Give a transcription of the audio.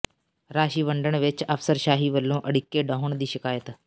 ਰਾਸ਼ੀ ਵੰਡਣ ਵਿਚ ਅਫ਼ਸਰਸ਼ਾਹੀ ਵਲੋਂ ਅੜਿੱਕੇ ਡਾਹੁਣ ਦੀ ਸ਼ਿਕਾਇਤ